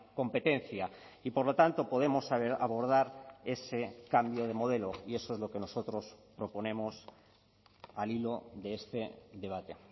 competencia y por lo tanto podemos abordar ese cambio de modelo y eso es lo que nosotros proponemos al hilo de este debate